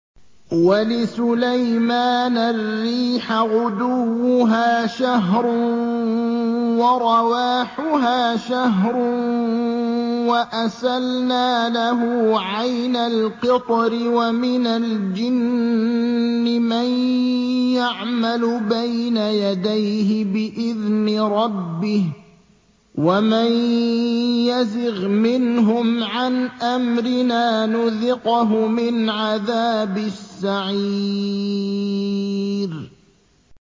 وَلِسُلَيْمَانَ الرِّيحَ غُدُوُّهَا شَهْرٌ وَرَوَاحُهَا شَهْرٌ ۖ وَأَسَلْنَا لَهُ عَيْنَ الْقِطْرِ ۖ وَمِنَ الْجِنِّ مَن يَعْمَلُ بَيْنَ يَدَيْهِ بِإِذْنِ رَبِّهِ ۖ وَمَن يَزِغْ مِنْهُمْ عَنْ أَمْرِنَا نُذِقْهُ مِنْ عَذَابِ السَّعِيرِ